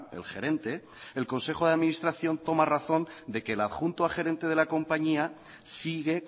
el gerente el consejo de administración toma razón de que el adjunto a gerente de la compañía sigue